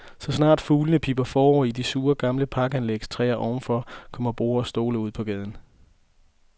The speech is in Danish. Så snart fuglene pipper forår i det sure, gamle parkanlægs træer overfor, kommer borde og stole ud på gaden.